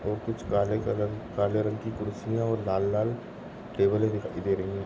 और कुछ काले कलर काले रंग की कुर्सिया और लाल लाल टेबले दिखाई दे रही है।